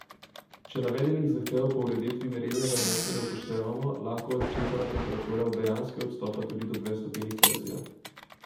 Če navedenih zahtev po ureditvi merilnega mesta ne upoštevamo, lahko odčitana temperatura od dejanske odstopa tudi do dve stopinji Celzija.